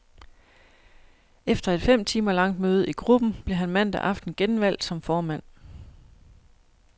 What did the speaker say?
Efter et fem timer langt møde i gruppen blev han mandag aften genvalgt som formand.